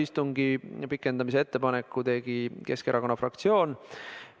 Istungi pikendamise ettepaneku tegi Keskerakonna fraktsioon.